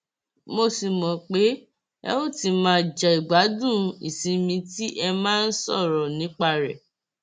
mo sì mọ pé ẹ ò ti máa jẹgbádùn ìsinmi tí ẹ máa ń sọrọ nípa rẹ